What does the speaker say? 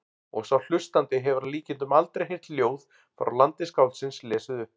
Og sá hlustandi hefur að líkindum aldrei heyrt ljóð frá landi skáldsins lesið upp.